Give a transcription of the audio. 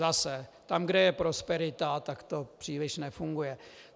Zase - tam, kde je prosperita, tak to příliš nefunguje.